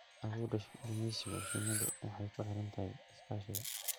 Awoodda gumeysiga shinnidu waxay ku xiran tahay iskaashiga.